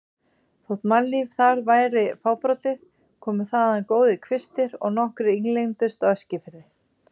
Þótt mannlíf þar væri fábrotið komu þaðan góðir kvistir og nokkrir ílengdust á Eskifirði.